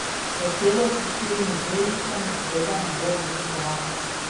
Hotelov s štirimi zvezdicami seveda ne bo obiskoval.